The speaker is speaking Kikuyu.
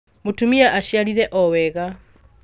Mũtumia aciarire o wega